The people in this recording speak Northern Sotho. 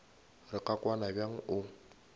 re ka kwana bjang o